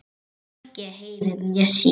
Hann hvorki heyrir né sér.